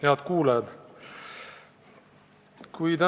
Head kuulajad!